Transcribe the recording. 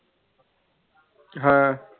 ਹਾਂ